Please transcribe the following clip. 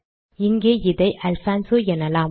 இங்கே இதை அல்ஃபான்சோ எனலாம்